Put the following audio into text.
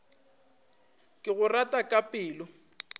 ke go rata ka pelo